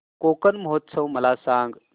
कोकण महोत्सव मला सांग